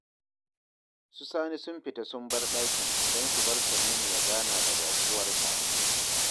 Su Sani sun fito sun bar ɗakin don su bar Tanimu ya gana da baƙuwarsa